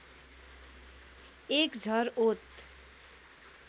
एक झर ओत